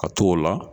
Ka t'o la